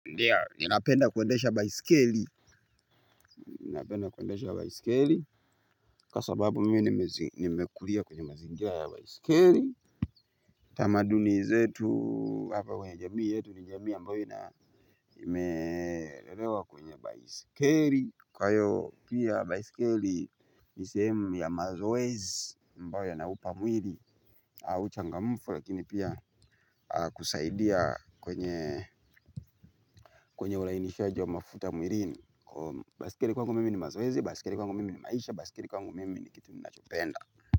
Ndiyo ninapenda kuendesha baisikeli. Ninapenda kuendesha baisikeli. Kwa sababu mimi nimekulia kwenye mazingira ya baisikeli. Tamaduni zetu hapa kwenye jamii yetu ni jamii ambayo ina nimelelewa kwenye baisikeli kwa hiyo pia baisikeli ni sehemu ya mazoezi mbao yanaupa mwili. Au changammfu lakini pia kusaidia kwenye kwenye ulainishaji wa mafuta mwilini baiskeli kwa ngumimi ni mazoezi, basikeli kwangu mimi ni maisha, baiskeli kwangu mimi ni kitu ninachopenda.